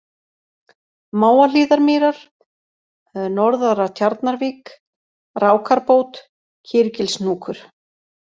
Mávahlíðarmýrar, Norðara-Tjarnarvik, Rákarbót, Kýrgilshnúkur